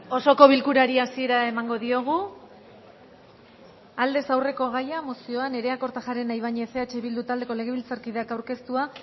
osoko bilkurari hasiera emango diogu aldez aurreko gaia mozioa nerea kortajarena ibañez eh bildu taldeko legebiltzarkideak aurkeztua